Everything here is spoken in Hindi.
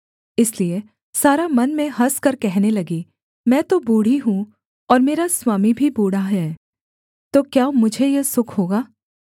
इसलिए सारा मन में हँसकर कहने लगी मैं तो बूढ़ी हूँ और मेरा स्वामी भी बूढ़ा है तो क्या मुझे यह सुख होगा